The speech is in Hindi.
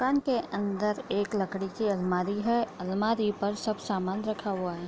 माकन के अंदर एक लकड़ी की अलमारी है अलमारी पर सब सामान रखा हुआ है।